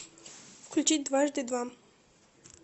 включить дважды два